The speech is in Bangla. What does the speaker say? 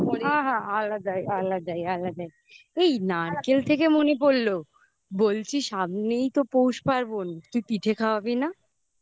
আহা আলাদা আলাদা আলাদা এই নারকেল থেকে মনে পড়লো বলছি সামনেই তো পৌষ পার্বন তুই পিঠে খাওয়াবি না